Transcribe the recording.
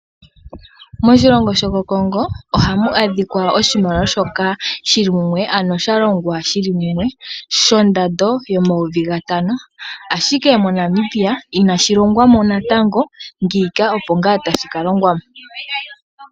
Moshilongo shokoCongo ohamu adhika oshimaliwa shili mumwe ano sha longwa shiilile shondando yomayovi gatano ashike moNamibia inashi longwa mo natango ngiika opo ngaa tashi ka longwa mo.